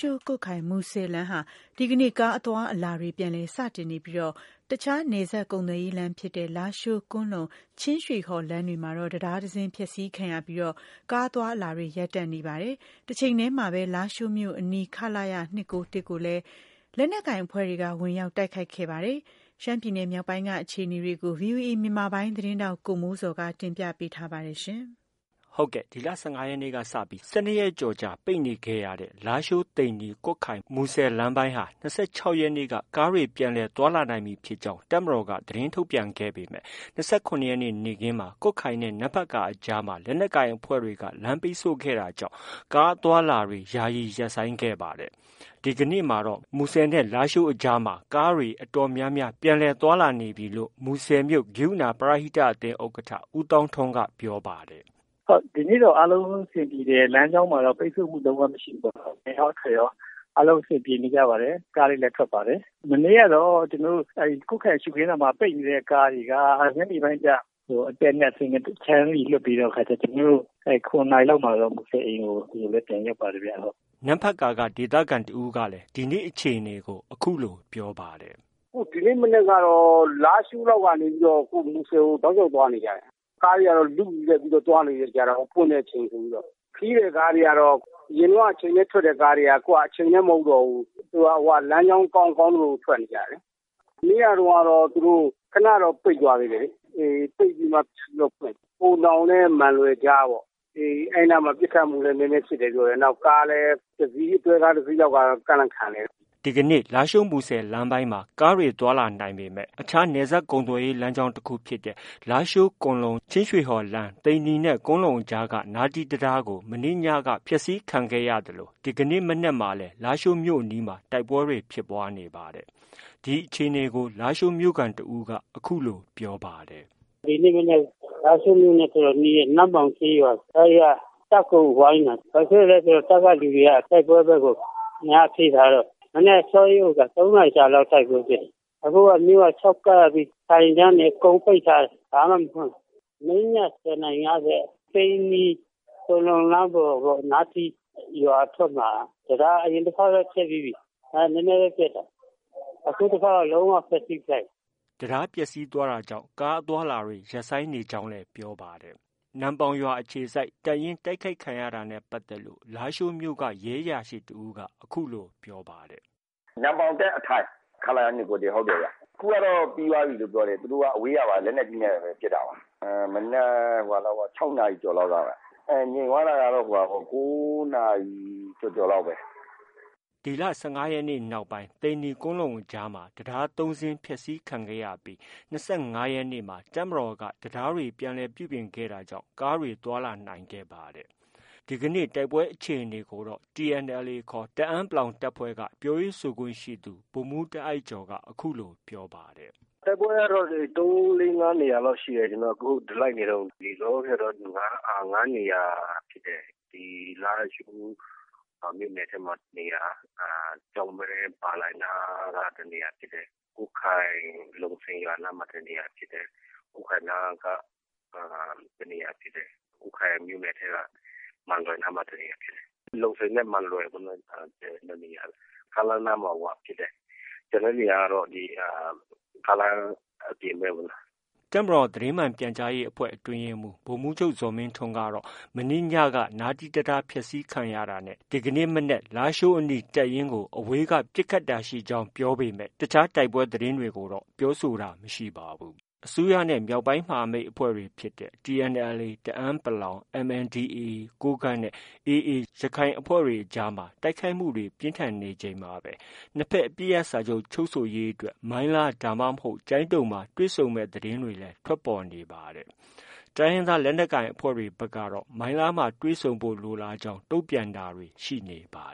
ှိုး-ကွတ်ခိုင်- မူဆယ်လမ်းဟာ ဒီကနေ့ ကားအသွားအလာတွေ ပြန်လည်စတင်နေပြီး အခြားနယ်စပ်ကုန်သွယ်ရေးလမ်းဖြစ်တဲ့ လားရှိုး-ကွမ်းလုံ- ချင်းရွှေဟော်လမ်းမှာတော့ တံတားတစ်စင်းဖျက်ဆီးခံရပြီး ကားအသွားအလာတွေ ရပ်တန့် နေပါတယ်။ တချိန်တည်းမှာပဲ လားရှိုးမြို့အနီးက ခလရ ၂၉၁ကိုလည်း လက်နက်ကိုင်အဖွဲ့တွေက ဝင်ရောက် တိုက်ခိုက်ခဲ့ပါတယ်။ ရှမ်းပြည်နယ်မြောက်ပိုင်းက အခြေအနေကို ဗွီအိုအေမြန်မာပိုင်း သတင်းထောက် ကိုမိုးဇော်က တင်ပြထားပါတယ်။ ဒီလ ၁၅ရက်နေ့က စပြီး၁၂ရက်ကျော်ကြာ ပိတ်ခဲ့နေခဲ့တဲ့ လားရှိုး- သိန္နီ- ကွတ်ခိုင်-မူဆယ်လမ်းပိုင်းမှာ ၂၆ရက်နေ့က ကားတွေ ပြန်လည်သွားလာနိုင်ပြီဖြစ်ကြောင်း တပ်မတော်က သတင်းထုတ်ပြန်ခဲ့ပေမယ့် ၂၇ရက်နေ့ နေ့ခင်းမှာ ကွတ်ခိုင်နဲ့ နမ့်ဖတ်ကာအကြားမှာ လက်နက်ကိုင်အဖဲ့ွတွေက လမ်းပိတ်ဆို့ခဲ့တာကြောင့် ကားအသွားအလာတွေ ရပ်ဆိုင်းခဲ့ပါတယ်။ ဒီကနေ့မှာတော့ မူဆယ်နဲ့ လားရှိုးအကြား ကားတွေဟာ အတော်များများ ပြန်လည် သွားလာနေပြီလို့ မူဆယ်မြို့ ကရုဏာပရဟိတအသင်း ဥက္ကဌ ဦးသောင်းထွန်းက အခုလို ပြောပါတယ်။ “ ဟုတ် ဒီနေ့ကတော့ အားလုံးအဆင်ပြေတယ်။ လမ်းကြောင်းမှာတော့ ပိတ်ဆို့မှု့လုံးဝမရှိဘူးပေါ့။ အဝင်ရော၊ အထွက်ရော အားလုံး အဆင်ပြေနေကြပါတယ်။ ကားတွေလည်းထွက်ပါတယ်။ မနေ့ကတော့ ကျနော်တို့ ကွတ်ခိုင်ရှုခင်းသာမှာ ပိတ်နေတဲ့ ကားတွေက ညနေပိုင်းကျ အတက်နဲ့ အဆင်းနဲ့ တစ်ခြမ်းစီလွှတ်ပေးတဲ့ အခါကျ ၇နာရီလောက်မှာကျ မူဆယ်အိမ်ကို ကျနော်တို့လည်း ပြန်ရောက်ပါတယ်ဗျ။” နမ့်ဖတ်ကာက ဒေသခံတစ်ဦးကလည်း ဒီနေ့ အခြေအနေကို အခုလို ပြောပါတယ်။ “ ဒီနေ့ကတော့ လားရှိုးလောက်ကနေပြီး မူဆယ်ကို တောက်လျောက်သွားနေကြတာ။ ကားတွေကတော့ လုယက်ပြီးသွားနေကြတယ်။ ပွင့်တဲ့အချိန်ဆိုပြီးတော့။ ခရီးသည်ကားတွေကတော့ အရင်တုံးက အချိန်နဲ့ ထွက်တဲ့ကားတွေက အခုက အချိန်နဲ့ မဟုတ်တော့ဘူး။ လမ်းကြောင်း ကောင်း ကောင်းသလို ထွက်နေကြတာ။ မနေ့ကတုန်းကတော့ ခဏတော့ ပိတ်သွားသေးတယ်လေ။ ပိတ်ပြီးမှ ပြန်ပြီးတော့ ဖွင့်တာ။ ဟိုနောင်နဲ့ မန်လွယ်အကြားပေါ့။ အဲဒီနားမှာ ပစ်ခတ်မှုလည်း နည်းနည်းဖြစ်တယ်ပြောတယ်။ကားလည်း ကားတစ်စီးလည်း တွဲကားတစ်စီးလောက်က ကန့်လန့်ခံနေတာ။ ” ဒီနေ့ မူဆယ်လမ်းပိုင်းမှာ ကားတွေသွားလာနိုင်ပေမဲ့ အခြားနယ်စပ်ကုန်သွယ်ရေးလမ်းဖြစ်တဲ့ လားရှိုး- ကွမ်းလုံ- ချင်းရွှေဟော်လမ်း၊ သိန္နီနဲ့ ကွမ်းလုံအကြားက နားတီးတံတားကို မနေ့ညက ဖောက်ခွဲခံခဲ့ရသလို ဒီမနက်မှာ လည်း လားရှိုးမြို့အနီးမှာ တိုက်ပွဲတွေ ဖြစ်ပွားခဲ့ပါတယ်။ ဒီအခြေအနေကို လားရှိုးမြို့ခံတစ်ဦးက အခုလို ပြောပါတယ်။ “ဒီနေ့ မနက် လားရှိုးမြို့နဲ့ တော်တော်နီးတဲ့ နမ့်ပေါင်ကျေးရွာ အဲဒီက တပ်ကို ဝိုင်းတာ။ ဘာဖြစ်လို့လဲဆို တပ်ကလူတွေက တိုက်ပွဲဘက်ကို အင်အားဖြည့်ထားတော့ မနက်အစောကြီး ၃နာရီကြာလောက် တိုက်ပွဲဖြစ်တယ်။ ခု မြို့က ခြောက်ကပ်ပြီး ဆိုင်ခန်းတွေ အကုန်ပိတ်ထားတယ်။ ဘာမှ မဖွင့်ဘူး။ မနေ့ည ၁၀နာရီ ၅၀က သိန္နီ-ကွမ်းလုံလမ်းပေါ်ပေါ့ နားတီရွာအထွက်မှာ တံတား အရင်တစ်ခေါက်လည်း ဖျက်ပြီးပြီ။ နည်းနည်းပဲ ပျက်တာ။ အခုတစ်ခေါက် လုံးဝဖျက်ဆီးပစ်လိုက်ပြီ။” တံတားပျက်ဆီးသွားတာကြောင့် ကားအသွားအလာတွေ ရပ်ဆိုင်းနေကြောင်း ပြောပါတယ်။ နမ့်ပေါင်ရွာအခြေစိုက် တပ်ရင်း တိုက်ခိုက်ခံရတာနဲ့ပတ်သက်ပြီး လားရှိုးမြို့က ရဲအရာရှိတစ်ဦးက အခုလို ပြောပါတယ်။ “ နမ့်ပေါင်တပ်အထိုင် ခလရ ၂၉၁ ဟုတ်တယ်ဗျ။ အခုက ပြီးသွားပြီလို့ ပြောတယ်။ သူတို့က အဝေးကပါ လက်နက်ကြီးနဲ့ ပစ်တယ်လို့ ပြောတယ်။ မနက် ၆နာရီကျော်လောက်က၊ ငြိမ်သွားတာကတော့ ၉နာရီကျော်ကျော် လောက်ပဲ။” ဒီလ ၁၅ရက်နေ့နောက်ပိုင်းမှာ သိန္နီ-ကွမ်းလုံအကြားမှာ တံတား ၃စင်း ဖျက်ဆီးခံရပြီး ၂၅ရက်နေ့မှာ တပ်မတော်က တံတားတွေ ပြုပြင်ခဲ့တာကြောင့် ကားတွေ ပြန်လည်သွားခဲ့တာဖြစ်ပါတယ်။ ဒီကနေ့ တိုက်ပွဲဖြစ်ပွားမှုအခြေအနေကိုတော့ TNLA ခေါ် တအန်း တပ်ဖွဲ့က ပြောရေးဆိုခွင့်ရှိသူ ဗိုလ်မှူးတားအိုက်ကျော်က အခုလို ပြောပါတယ်။ “ တိုက်ပွဲကတော့ ၃-၄- ၅နေရာလောက်ရှိတယ်။ ကျနော်တို့ လိုက်နေတုံး။ လောလောဆည်တော့ ၅နေရာ ဖြစ်တယ်။ လားရှိုးမြို့နယ်ထဲမှာ တစ်နေရာ၊ ကျောက်မဲ ပါလိုင်နားက တစ်နေရာ၊ ကွတ်ခိုင်လုံစိန်ရွာနားမှာ တစ်နေရာဖြစ်တယ်။ ကွတ်ခိုင်နားက တစ်နေရာဖြစ်တယ်။ ကွတ်ခိုင် မန်လွယ်နားမှာ တစ်နေရာဖြစ်တယ်။ ကွတ်ခိုင်လုံစိန်နဲ့ မန်လွယ် ၂နေရာကျတော့ ကားလမ်းနားမှာဖြစ်တယ်။ ကျန်တဲ့နေရာကျတော့ ကားလမ်းအပြင်ဘက်ပေါ့။” တပ်မတော်သတင်းမှန်ပြန်ကြားရေးအဖွဲ့ အတွင်းရေးမှူး ဗိုလ်မှူးချုပ်ဇော်မင်းထွန်းကတော့ မနေ့ညက နားတီး တံတားဖျက်ဆီးခံရတာနဲ့ ဒီမနက် လားရှိုးအနီးတပ်ရင်းကို အဝေးက ပစ်ခတ်တာရှိကြောင်း ပြောပေမဲ့ တခြားတိုက်ပွဲသတင်းတွေကိုတော့ ပြောဆိုတာ မရှိပါဘူး။ အစိုးရနဲ့ မြောက်ပိုင်းမဟာမိတ်အဖွဲ့တွေ TNLA တအန်း ၊ MNDAကိုးကန့်နဲ့ AA ရခိုင်အဖွဲ့တွေ အကြားမှာ တိုက်ခိုက်မှုတွေ ပြင်းထန်နေချိန်မှာပဲ နှစ်ဘက် အပစ်ရပ်စာချုပ်ချုပ်ဆိုရေးအတွက်မိုင်းလား ဒါမှ မဟုတ် ကျိုင်းတုံမှ တွေ့ဆုံမယ်ဆိုတဲ့ သတင်းတွေလည်း ထွက်ပေါ်နေပါတယ်။ တိုင်းရင်းသားလက်နက်ကိုင် အဖွဲ့တွေဘက်ကတော့ မိုင်းလားမှာတွေ့ဆုံဖို့ လိုလားကြောင်း တုံ့ပြန်တာတွေ ရှိနေပါ